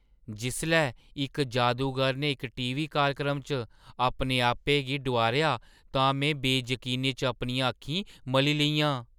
जिसलै इक जादूगर ने इक टीवी कार्यक्रम च अपने आपै गी डुआरेआ तां में बेजकीनी च अपनियां अक्खीं मली लेइयां।